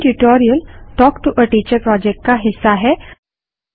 spoken tutorial talk to a teacher project का हिस्सा है